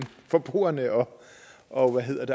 forbrugerne og